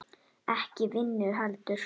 Ekki vinnu heldur.